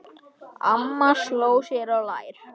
Amma sló sér á lær.